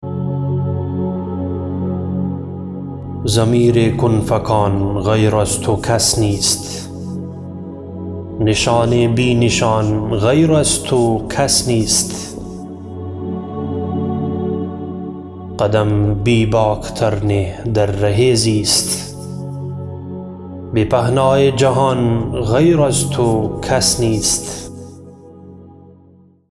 ضمیر ین فکان غیر از تو کس نیست نشان بی نشان غیر از تو کس نیست قدم بیباک تر نه در ره زیست به پهنای جهان غیر از تو کس نیست